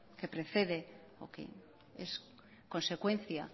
que precede o que es consecuencia